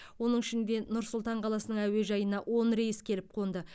оның ішінде нұр сұлтан қаласының әуежайына он рейс келіп қонды